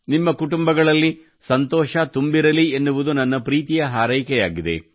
ನಿಮ್ಮ ಕುಟುಂಬಗಳಲ್ಲಿ ಸಂತೋಷ ತುಂಬಿರಲಿ ಎನ್ನುವುದು ನನ್ನ ಪ್ರೀತಿಯ ಹಾರೈಕೆಯಾಗಿದೆ